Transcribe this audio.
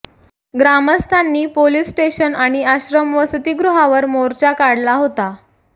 ग्रामस्थांनी police station आणि आश्रम वसतीगृहावर मोर्चा काढला होता